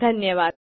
धन्यवाद